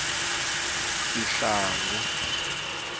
sihlangu